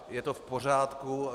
Je to v pořádku.